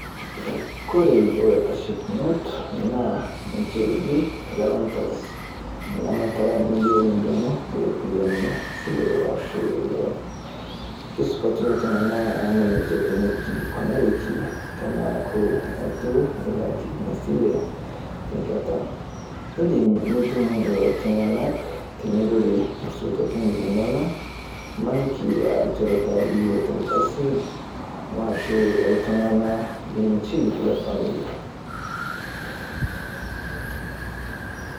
Kore ilaitashekinot naa niche eji irgarantas, engamata niyieu nidumu iropiyiani esile aashu eloon, kesupati lelo Tung'anak amu ninche Kenya eikilikuanareki teneaku eitu ilak Ina sile teng'ata. Eedim nitum lelo Tung'anak tenitotore isotuatin linonok emaniki aa ilnchoreta liyiolo tolkasi oashu iltung'anak linchi lefamamili.